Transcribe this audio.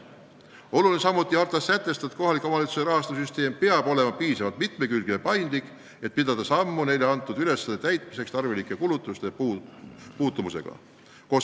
Oluline on samuti hartas sätestatu, et kohalike omavalitsuste rahastamise süsteem peab olema piisavalt mitmekülgne ja paindlik, et pidada sammu neile pandud ülesannete täitmiseks tarvilike kulutuste muutumisega.